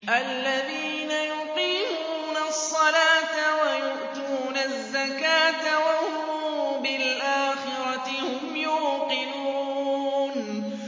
الَّذِينَ يُقِيمُونَ الصَّلَاةَ وَيُؤْتُونَ الزَّكَاةَ وَهُم بِالْآخِرَةِ هُمْ يُوقِنُونَ